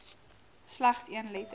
slegs een letter